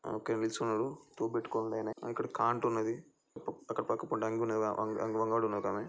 ఈ shop number seventeen అట ఆ ఒకాయన పిలుస్తున్నాడు టోపి పెట్టుకున్నాడైన --